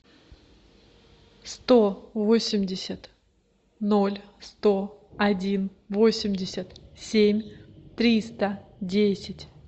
сто восемьдесят ноль сто один восемьдесят семь триста десять